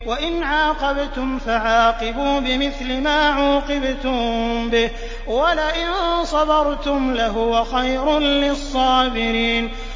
وَإِنْ عَاقَبْتُمْ فَعَاقِبُوا بِمِثْلِ مَا عُوقِبْتُم بِهِ ۖ وَلَئِن صَبَرْتُمْ لَهُوَ خَيْرٌ لِّلصَّابِرِينَ